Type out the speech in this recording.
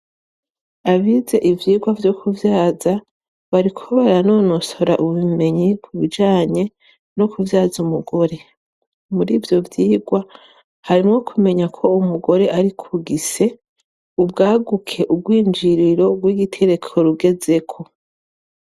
Abize ivyigwa vyo kuvyaza bariko baranonosora ubumenyi ku bijanye no kuvyaza umugore. Muri ivyo vyigwa, harimwo kumenya ko umugore ari kugise ubwaguke, ubwinjiriro bw'igitereko rugezeko.